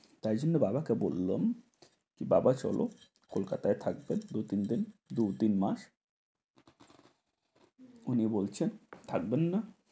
তাই জন্য বাবাকে বললুম বাবা চল কলকাতায় থাকবে দু তিন দিন, দু তিন মাস উনি বলছেন থাকবেন না।